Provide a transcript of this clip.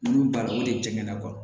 Olu baara o de jɛgɛna kɔrɔ